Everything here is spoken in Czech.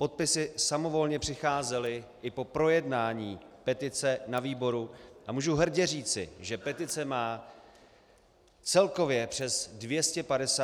Podpisy samovolně přicházely i po projednání petice na výboru a můžu hrdě říci, že petice má celkově přes 250 000 podpisů.